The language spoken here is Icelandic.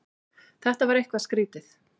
Þetta var eitthvað skrýtið.